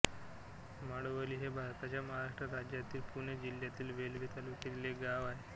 माळवली हे भारताच्या महाराष्ट्र राज्यातील पुणे जिल्ह्यातील वेल्हे तालुक्यातील एक गाव आहे